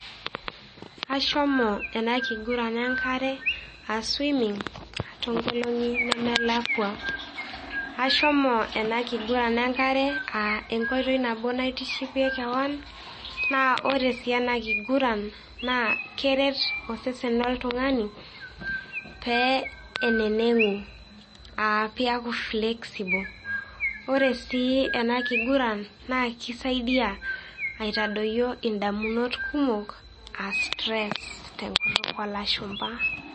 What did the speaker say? Ashomo ena kiguran enk'are aa swimming too ngolong'i nemelakwa. Ashomo ena kiguran enk'are aa enkoitoi nabo naitishipie kewan naa ore sii ena kiguran naa keret osesen loltung'ani pee eneneng'u aa peaku flexible ore sii ena kiguran naa keisaidia aitadoyio edamunot kumok aa stress tenkutuk oo lashumba.